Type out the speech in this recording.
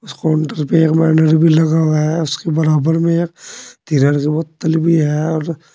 इस काउंटर पे एक बैनर भी लगा हुआ है उसके बराबर में एक बोतल भी है और--